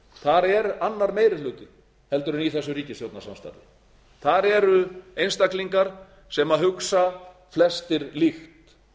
þar er annar meiri hluti heldur en í þessu ríkisstjórnarsamstarfi þar eru einstaklingar sem hugsa flestir líkt